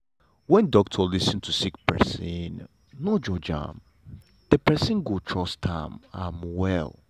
when doctor lis ten to sick pesin no judge am de person go trust am am well.